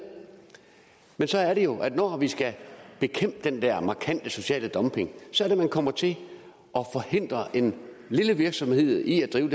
men så er det jo at man når vi skal bekæmpe den der markante sociale dumping kommer til at forhindre en lille virksomhed i at drive